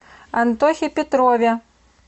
антохе петрове